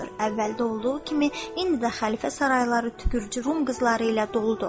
Əvvəl olduğu kimi indi də xəlifə sarayları tükrücü rum qızları ilə doludur.